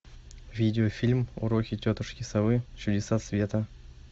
видеофильм уроки тетушки совы чудеса света